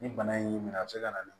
Ni bana in y'i minɛ a bɛ se ka na